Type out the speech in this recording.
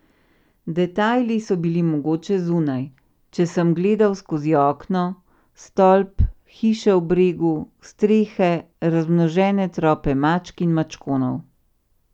Detajli so bili mogoče zunaj, če sem gledal skozi okno, stolp, hiše v bregu, strehe, razmnožene trope mačk in mačkonov.